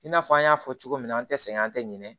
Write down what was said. I n'a fɔ an y'a fɔ cogo min na an tɛ sɛgɛn an tɛ ɲinɛ